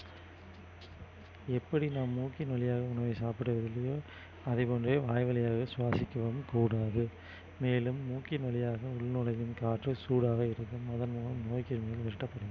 எப்படி நாம் மூக்கின் வழியாக உணவை சாப்பிடுவதில்லையோ அதே போன்றே வாய் வழியாக சுவாசிக்கவும் கூடாது மேலும் மூக்கின் வழியாக உள்நுழையும் காற்று சூடாக இருந்து அதன் மூலம் நோய்க் கிருமிகள்